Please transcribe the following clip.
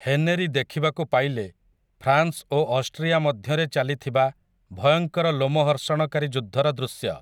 Henry ଦେଖିବାକୁ ପାଇଲେ France ଓ ଅଷ୍ଟ୍ରିଆ ମଧ୍ୟରେ ଚାଲିଥିବା ଭୟଙ୍କର ଲୋମହର୍ଷଣକାରୀ ଯୁଦ୍ଧର ଦୃଶ୍ୟ ।